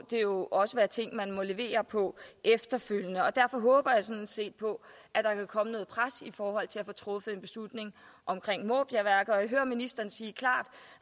det jo også være ting man må levere på efterfølgende derfor håber jeg sådan set på at der kan komme noget pres i forhold til at få truffet en beslutning om måbjergværket og jeg hører ministeren sige klart